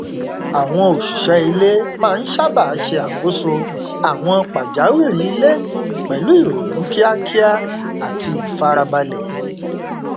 àwọn òṣìṣẹ ilé máa n sábà ṣe àkóso àwọn pàjáwìrì ilé pẹlú ìrònú kíákíá àti ìfarabalẹ